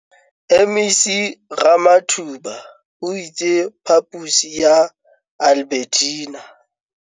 MEC Ramathuba o itse phaposi ya Albertina